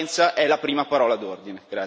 Trasparenza è la prima parola d'ordine.